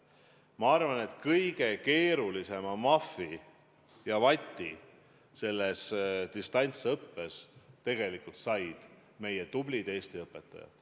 Ma arvan, et kõige hullema mahvi ja vati selles distantsõppes said meie tublid Eesti õpetajad.